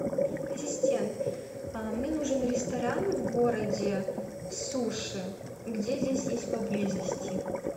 ассистент мне нужен ресторан в городе суши где здесь есть поблизости